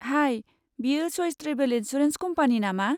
High, बेयो चइच travel insurance company नामा?